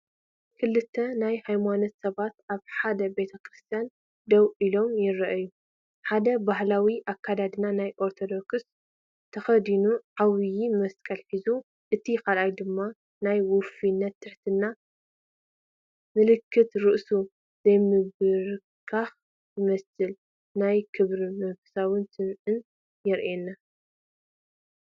ክልተ ናይ ሃይማኖት ሰባት ኣብ ሓደ ቤተ ክርስቲያን ደው ኢሎም ይረኣዩ። ሓደ ባህላዊ ኣከዳድና ናይ ኦርቶዶክስ ተኸዲኑ ዓብየ መስቀል ሒዙ፤ እቲ ካልእ ድማ ናይ ውፉይነትን ትሕትናን ምልክት ርእሱ ዘምብርከኽ ይመስል። ናይ ክብርን መንፈሳውነትን ስምዒት የርእየና።